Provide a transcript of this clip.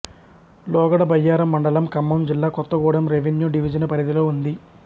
లోగడ బయ్యారం మండలం ఖమ్మం జిల్లా కొత్తగూడెం రెవిన్యూ డివిజను పరిధిలో ఉంది